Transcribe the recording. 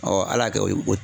ala y'a kɛ o y'i ko